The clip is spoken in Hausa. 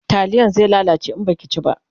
taliyan zai ya lalace in Baki ci ba